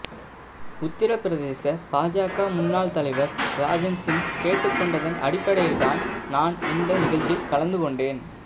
உத்திரபிரதேச பாஜக முன்னாள் தலைவர் ராஜன் சிங் கேட்டுக்கொண்டதன் அடிப்படையில் தான் நான் இந்த நிகழ்ச்சியில் கலந்துகொண்டேன்